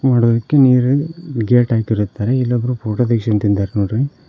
ನೋಡೋದಿಕ್ಕೆ ನೀರಿಲ್ ಗೇಟ್ ಹಾಕಿರುತ್ತಾರೆ ಇಲ್ಲಿ ಒಬ್ಬರು ಫೋಟೋ ತೆಗ್ಸಕೊಂದಿತಿಂದಾರ್ ನೋಡ್ರಿ.